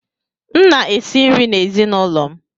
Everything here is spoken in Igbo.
M na-esi nri n'ezinaụlọ m.